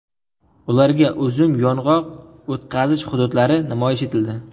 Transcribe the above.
Ularga uzum, yong‘oq o‘tqazish hududlari namoyish etildi .